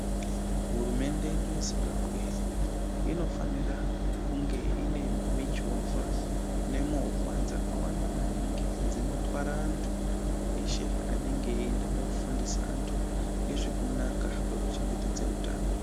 Hurumende yedu yeZimbabwe inofanira kunge ine michovha nemovha dzakawanda maningi dzinotwra eshe anenge eiende kofundisa antu ngezvekunaka kweku chengetedze utano.